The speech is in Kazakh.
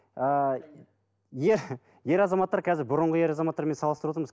ер азаматтар қазір бұрынғы ер азаматтармен салыстырып отырмыз